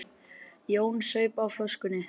Jón saup á flöskunni.